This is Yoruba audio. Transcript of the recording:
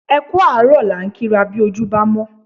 Ẹ kú àárọ̀ la ń kí ra bí ojú bámọ́